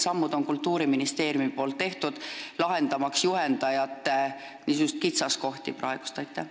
Aga mida on Kultuuriministeerium teinud, et lahendada juhendajate probleeme ja praeguseid kitsaskohti?